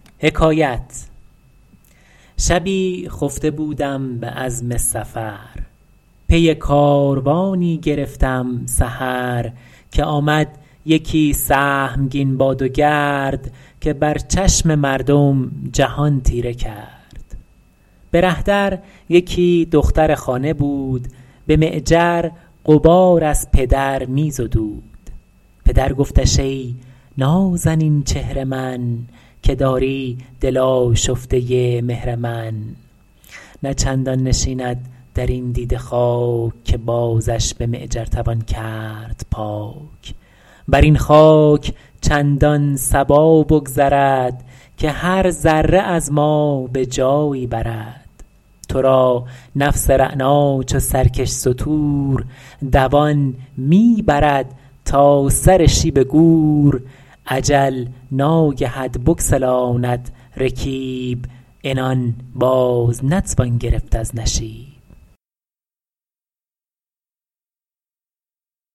شبی خفته بودم به عزم سفر پی کاروانی گرفتم سحر که آمد یکی سهمگین باد و گرد که بر چشم مردم جهان تیره کرد به ره در یکی دختر خانه بود به معجر غبار از پدر می زدود پدر گفتش ای نازنین چهر من که داری دل آشفته مهر من نه چندان نشیند در این دیده خاک که بازش به معجر توان کرد پاک بر این خاک چندان صبا بگذرد که هر ذره از ما به جایی برد تو را نفس رعنا چو سرکش ستور دوان می برد تا سر شیب گور اجل ناگهت بگسلاند رکیب عنان باز نتوان گرفت از نشیب